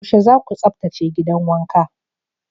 Yaushe za ku tsaftace gidan wanka?